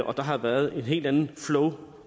og der har været et helt andet flow